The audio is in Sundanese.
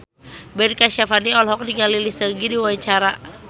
Ben Kasyafani olohok ningali Lee Seung Gi keur diwawancara